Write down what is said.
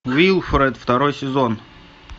уилфред второй сезон